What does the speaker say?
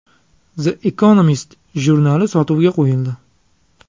The Economist jurnali sotuvga qo‘yildi.